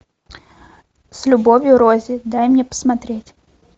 с любовью рози дай мне посмотреть